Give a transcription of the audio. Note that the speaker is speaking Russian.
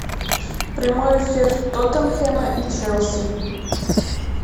прямой эфир тоттенхэма и челси